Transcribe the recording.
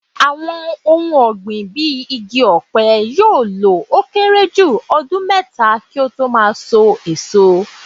Àwọn ohun ọ̀gbìn bíi igi ọ̀pẹ yóò lọ ó kéré jù ọdún mẹ́ta kí ó tó máa sọ èso.